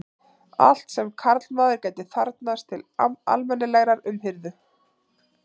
Allt sem karlmaður gæti þarfnast til almennilegrar umhirðu.